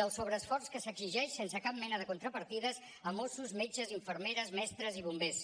del sobreesforç que s’exigeix sense cap mena de contrapartides a mossos metges infermeres mestres i bombers